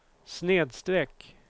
snedsträck